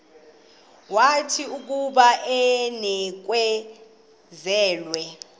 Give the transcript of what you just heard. wathi akuba enikezelwe